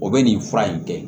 O bɛ nin fura in kɛ